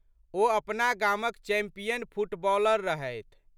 ओ अपना गामक champion footballer रहथि।